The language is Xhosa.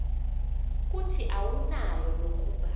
kuthi awunayo nokuba